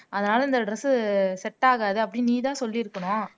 அதனால இந்த dress set ஆகாது அப்படின்னு நீதான் சொல்லி இருக்கணும்